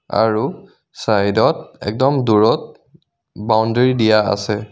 আৰু চাইড ত একদম দূৰত বাউন্দেৰী দিয়া আছে.